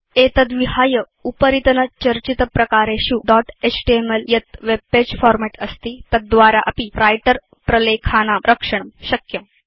एतद्विहाय उपरितनचर्चितप्रकारेषु dot HTML यत् वेब पगे फॉर्मेट् अस्ति तद्द्वारा अपि व्रिटर प्रलेखानां रक्षणं शक्यम्